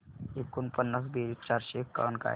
एकोणपन्नास बेरीज चारशे एकावन्न काय